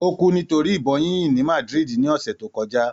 Ó kú nítorí ìbọn yíyìn ní Madrid, ní ọsẹ̀ tó kọjá.